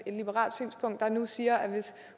et liberalt synspunkt der nu siger at hvis